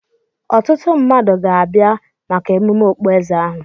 Ọtụtụ mmadụ ga-abịa maka emume okpueze ahụ.